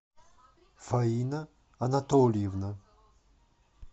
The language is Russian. фаина анатольевна